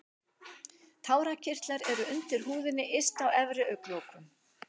Tárakirtlar eru undir húðinni yst á efri augnlokum.